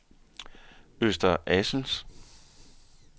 Øster Assels